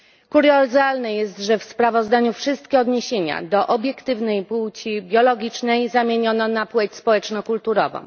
Kuriozalne jest, że w sprawozdaniu wszystkie odniesienia do obiektywnej płci biologicznej zamieniono na płeć społeczno kulturową.